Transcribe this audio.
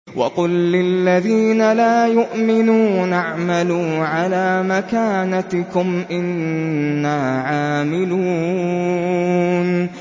وَقُل لِّلَّذِينَ لَا يُؤْمِنُونَ اعْمَلُوا عَلَىٰ مَكَانَتِكُمْ إِنَّا عَامِلُونَ